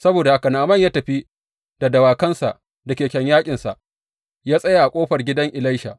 Saboda haka Na’aman ya tafi da dawakansa da keken yaƙinsa, ya tsaya a ƙofar gidan Elisha.